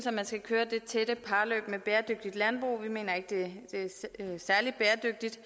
at man skal køre det tætte parløb med bæredygtigt landbrug vi mener ikke det er særlig bæredygtigt